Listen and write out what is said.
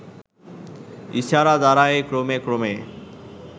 ইশারা দ্বারাই ক্রমে ক্রমে